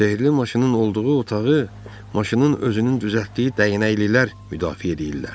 Sehirli maşının olduğu otağı maşının özünün düzəltdiyi dəyənəklilər müdafiə edirlər.